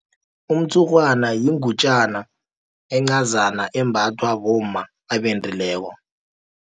Umtshurhwana yingutjana encazana, embathwa bomma abendileko.